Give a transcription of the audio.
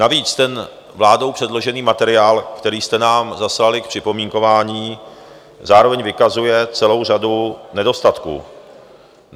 Navíc ten vládou předložený materiál, který jste nám zaslali k připomínkování, zároveň vykazuje celou řadu nedostatků.